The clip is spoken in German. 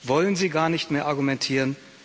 Wollen Sie gar nicht mehr argumentieren?